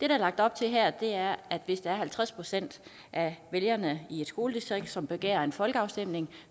er lagt op til her er at hvis der er halvtreds procent af vælgerne i et skoledistrikt som begærer en folkeafstemning